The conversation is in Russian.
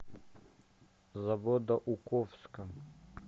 заводоуковска